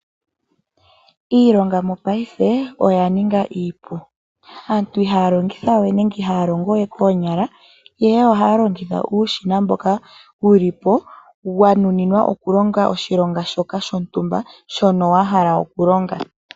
Iilonga mopaife oya ninga iipu, aantu ihaya longitha we nenge ihaya longo we koonyala, ihe ohaya longitha uushina mboka wuli po wa nuninwa okulonga oshilonga shoka shontumba shono wa hala okulonga.